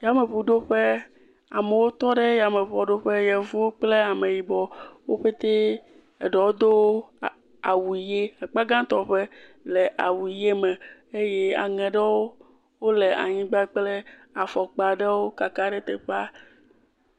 Yameŋuɖoƒe amewo tɔ ɖe yameŋuaɖoƒe. yevuwo kple ameyibɔ wo pɛtɛ, eɖewo do a awu ʋi akpa gãtɔ ƒe le awu ʋi me eye aŋe aɖewo le anyigba kple afɔkpa aɖewo kaka ɖe teƒea.